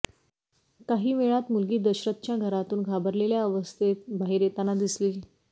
काही वेळात मुलगी दशरथच्या घरातून घाबरलेल्या अवस्थेत बाहेर येताना दिसली